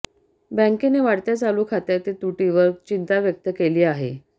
बँकेने वाढत्या चालू खात्यातील तुटीवर चिंता व्यक्त केली आहे